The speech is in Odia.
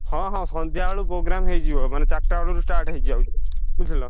ହଁ ହଁ ସନ୍ଧ୍ୟା ବେଳ କୁ program ହେଇଯିବ। ମାନେ ଚାରିଟା ବେଳରୁ start ହେଇଯାଏ ବୁଝିଲ।